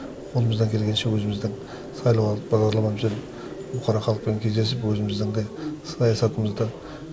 қолымыздан келгенше өзіміздің сайлауалды бағдарламамызбен бұқара халықпен кездесіп өзіміздің андай саясатымызды